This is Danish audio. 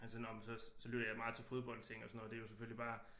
Altså nåh men så så lytter jeg meget til fodboldting og sådan noget det er jo selvfølgelig bare